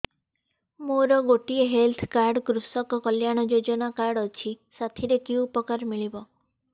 ମୋର ଗୋଟିଏ health card କୃଷକ କଲ୍ୟାଣ ଯୋଜନା କାର୍ଡ ଅଛି ସାଥିରେ କି ଉପକାର ମିଳିବ